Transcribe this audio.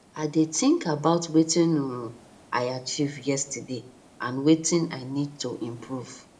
i dey think about wetin um i achieve yesterday and wetin i need to improve